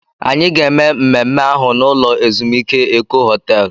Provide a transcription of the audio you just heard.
Anyị ga-eme mmemme ahụ n'ụlọ ezumike Eko Họtel